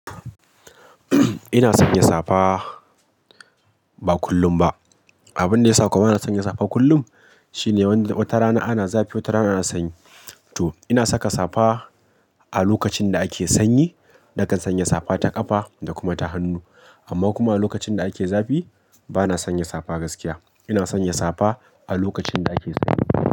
Ina sanya safa ba kullum ba. Abin da ya sa kuma bana sanya safa kullum shine wata rana ana zafi, wata rana ana sanyi. To ina saka safa a lokacin da ake sanyi. Nakan sanya safa ta ƙafa da kuma ta hannu. Amma kuma a lokacin da ake zafi bana sanya safa gaskiya. Ina sanya safa a lokacin da ake sanyi.